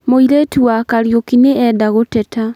Mũirĩtu wa Kariũki nĩ enda gũteta